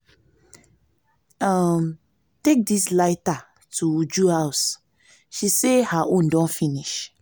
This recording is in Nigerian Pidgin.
um take dis lighter to uju house she say her own don finish